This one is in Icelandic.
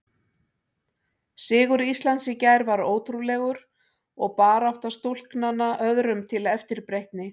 Sigur Íslands í gær var ótrúlegur og barátta stúlknanna öðrum til eftirbreytni.